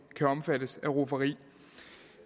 kan omfattes af rufferi